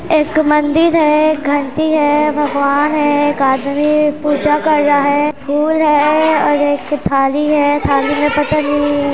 एक मंदिर हैं एक घंटी हैं भगवान हैं एक आदमी पूजा कर रहा हैं फूल हैं और एक थाली हैं थाली में पता नहीं--